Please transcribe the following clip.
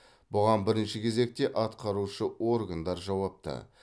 бұған бірінші кезекте атқарушы органдар жауапты